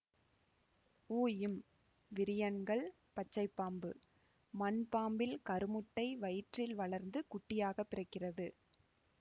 உம் விரியன்கள் பச்சைப்பாம்பு மண்பாம்பில் கருமுட்டை வயிற்றில் வளர்ந்து குட்டியாகப்பிறக்கிறது